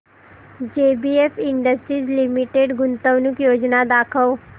JBF industries limited गुंतवणूक योजना दाखव